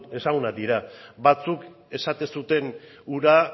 ezagunak dira batzuk esaten zuten hura